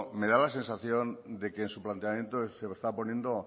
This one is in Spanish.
me da la sensación de que en su planteamiento estaba poniendo